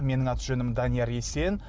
менің аты жөнім данияр есен